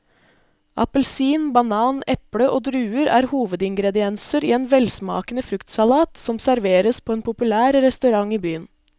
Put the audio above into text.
Appelsin, banan, eple og druer er hovedingredienser i en velsmakende fruktsalat som serveres på en populær restaurant i byen.